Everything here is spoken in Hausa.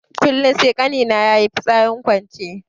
Kullun sai ƙani na yayi fitsarin kwance.